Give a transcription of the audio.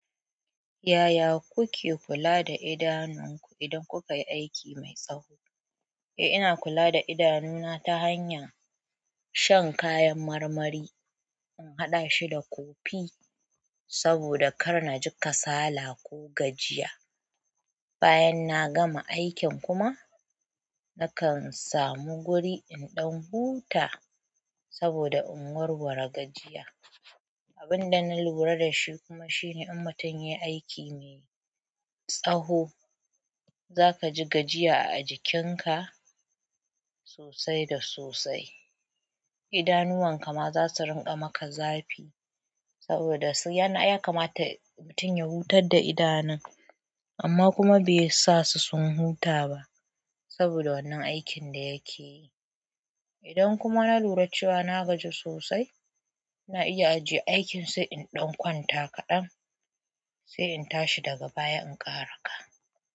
Yaya kuke kula da idanunku idan kukayi aiki mai tsawo? Eh ina kula da idanuna ta hanyar shan kayan marmari, in haɗa shi da kofi saboda ƙarna ji kasala ko gajiya. Bayan na gama aikin kuma nakan samu guri in ɗan huta saboda in warware gajiya. Abin da na lura da shi kuma shine in mutum ya yi aiki mai tsawo, za ka ji gajiya a jikinka sosai da sosai. Idanuwan kama za su rinƙa maka zafi saboda ya kama ta mutum ya hutar da idanun amma kuma bai sa su sun huta ba saboda wannan aikin da yake yi. Idan kuma na lura cewa na gaji sosai, na iya ajiye aikin sai in ɗan kwanta kaɗan sai in tashi daga baya in ƙara ka.